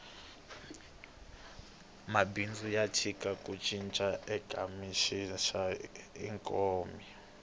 mabindzu ya tisa ku cinca eka xiyimo xa ikhonomi